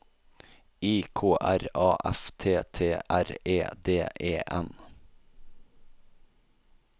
I K R A F T T R E D E N